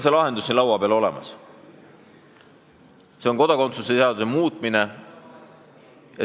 See lahendus on siin laua peal olemas: see on kodakondsuse seaduse muutmine.